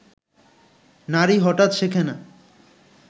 নারী হঠাৎ শেখে না